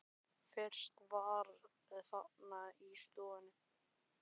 Fyrst þú varst þarna í stofunni.